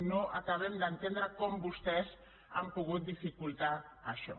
no acabem d’entendre com vostès han pogut dificultar això